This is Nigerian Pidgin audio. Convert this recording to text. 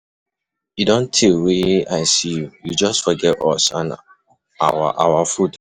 E don tey wey I see you, you just forget us and our our food.